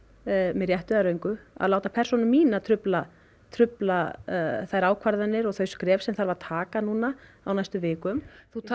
með réttu eða röngu að láta persónu mína trufla trufla þær ákvarðanir og þau skref sem sem þarf að taka á næstu vikum